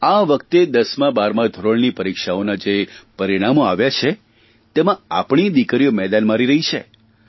આ વખતે દસમા બારમા ધોરણની પરીક્ષાઓના જે પરિણામો આવ્યાં છે તેમાં આપણી દિકરીઓ મેદાન મારી રહી છે